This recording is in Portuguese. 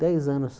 Dez anos.